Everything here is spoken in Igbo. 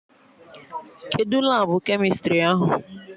Kedụ Labụ kemịstrị ahụ?